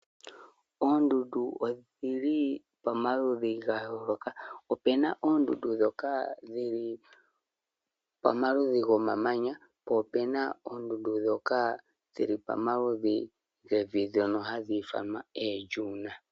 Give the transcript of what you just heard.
Oondundu odhili pamaludhi gayooloka, opena oondundu dhoka dhili pomaludhi gomamanya po opena oondundu dhoka dhili pamaludhi gevi dhoka hadhi ithanwa oDune.